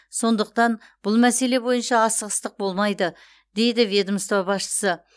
сондықтан бұл мәселе бойынша асығыстық болмайды деді ведомство басшысы